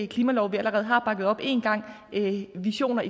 klimalov vi allerede har bakket op en gang visioner